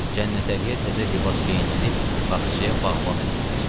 Cənnətəliyə təzə libas geyindirib bağçaya bağban elədilər.